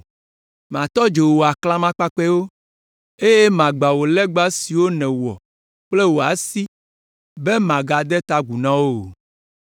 Matɔ dzo wò aklamakpakpɛwo eye magbã wò legba siwo nèwɔ kple wò asiwo be màgade ta agu na wo o.